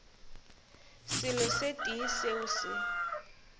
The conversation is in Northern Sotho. selo se tee seo se